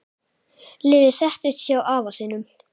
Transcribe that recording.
Lilla settist hjá afa sínum.